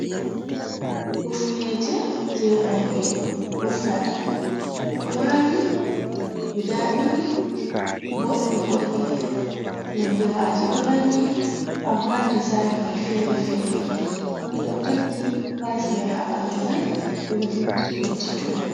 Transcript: Hifnooje jee worɓe hufnata, ɗo waali, gudaa ɗiɗi, boɗɗi-boɗɗi, nonde maaji ɗo nandi, ammaa dizai man feere-feere, ɓe ɗo takki, pirais mai 22.